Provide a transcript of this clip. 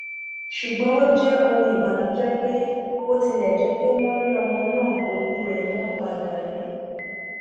ṣùgbọn ó jẹ ohun ìbànújẹ pé bó tilẹ jẹ pé wọn rí ọmọ náà òkú rẹ ni wọn padà rí